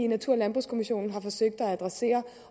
natur og landbrugskommissionen